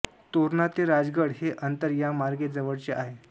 तोरणा ते राजगड हे अंतर या मार्गे जवळचे आहे